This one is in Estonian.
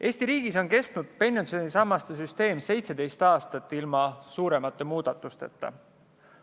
Eesti riigis on pensionisammaste süsteem 17 aastat püsinud ilma suuremate muudatusteta.